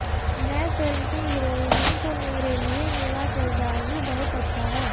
मैं फिल्म की हिरोइन हूं तो मेरे लिए मेरा किरदार ही बहुत अच्छा है